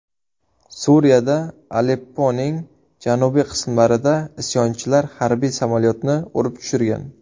Suriyada Alepponing janubiy qismlarida isyonchilar harbiy samolyotni urib tushirgan.